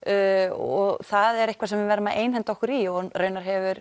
og það er eitthvað sem við verðum að einhenda okkur í og raunar hefur